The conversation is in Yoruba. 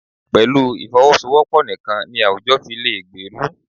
Pẹ̀lú ìfọwọ́sowọ́pọ̀ nìkan ni àwùjọ fi lè gbèrú.